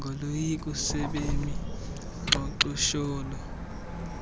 ngoloyiko sebemi xhonxosholo